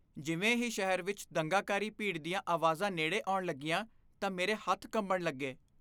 ਜਿਵੇਂ ਹੀ ਸ਼ਹਿਰ ਵਿੱਚ ਦੰਗਾਕਾਰੀ ਭੀੜ ਦੀਆਂ ਆਵਾਜ਼ਾਂ ਨੇੜੇ ਆਉਣ ਲੱਗੀਆਂ, ਤਾਂ ਮੇਰੇ ਹੱਥ ਕੰਬਣ ਲੱਗੇ।